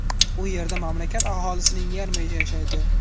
U yerda mamlakat aholisining yarmi yashaydi.